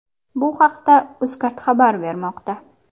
Bu haqda UzCard xabar bermoqda .